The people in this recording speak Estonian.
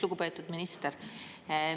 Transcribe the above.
Lugupeetud minister!